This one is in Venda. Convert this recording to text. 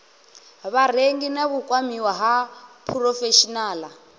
vharengi na vhukwamiwa ha phurofeshinaḽa